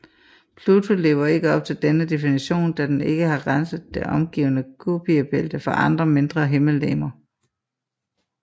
Pluto lever ikke op til denne definition da den ikke har renset det omgivende Kuiperbælte for andre mindre himmellegemer